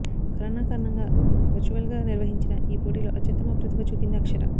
corona కారణంగా వర్చువల్గా నిర్వహించిన ఈ పోటీలో అత్యుత్తమ ప్రతిభ చూపింది అక్షర